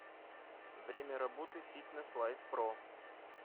время работы фитнеслайфпро